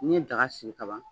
N'i ye daga sigi ka ban